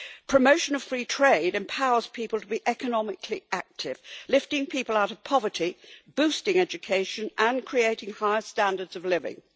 Promotion of free trade empowers people to be economically active, lifting people out of poverty, boosting education and creating higher standards of living.